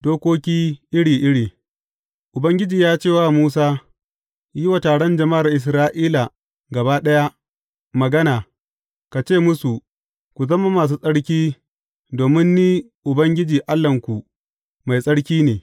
Dokoki iri iri Ubangiji ya ce wa Musa, Yi wa taron jama’ar Isra’ila gaba ɗaya magana, ka ce musu, Ku zama masu tsarki, domin Ni, Ubangiji Allahnku, mai tsarki ne.